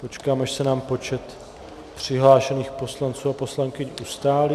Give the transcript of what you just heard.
Počkám, až se nám počet přihlášených poslanců a poslankyň ustálí...